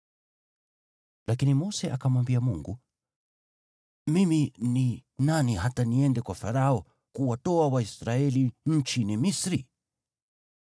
Lakini Mose akamwambia Mungu, “Mimi ni nani hata niende kwa Farao kuwatoa Waisraeli nchini Misri?”